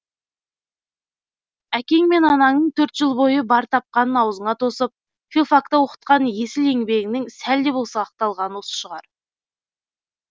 әкең мен анаңның төрт жыл бойы бар тапқанын аузыңа тосып филфакта оқытқан есіл еңбегінің сәл де болса ақталғаны осы шығар